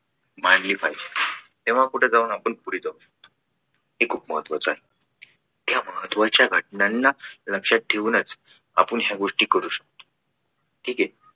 मानली पाहिजे. तेव्हा कुठे जाऊन आपण पुढे जाऊ. हे खूप महत्त्वाचा आहे. महत्वाच्या घटना लक्षात ठेवूनच आपण या गोष्टी करू शकतो. ठीक आहे.